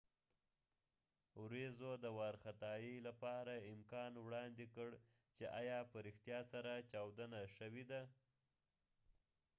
ورېځو د وار خطا يۍ لپاره امکان وړاندې کړ چې ایا په ریښتیا سره چاودنه شوی ده